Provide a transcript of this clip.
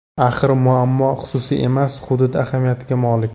Axir muammo xususiy emas, hudud ahamiyatiga molik.